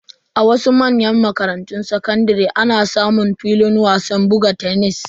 A wasu manyan makarantun sakandare ana samun filin wasan buga tenis.